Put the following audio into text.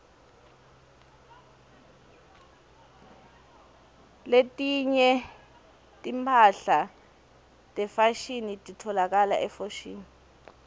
letinye timphahla tefashini titfolakala efoshini